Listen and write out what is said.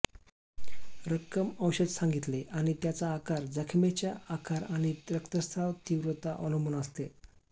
रक्कम औषध सांगितले आणि त्याचा आकार जखमेच्या आकार आणि रक्तस्त्राव तीव्रता अवलंबून असते